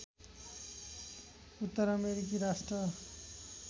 उत्तर अमेरिकी राष्ट्र